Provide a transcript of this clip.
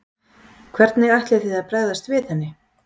Hvernig ætlið þið að bregðast við henni?